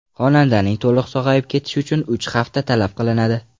Xonandaning to‘liq sog‘ayib ketishi uchun uch hafta talab qilinadi.